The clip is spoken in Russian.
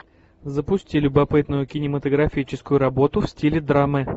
запусти любопытную кинематографическую работу в стиле драмы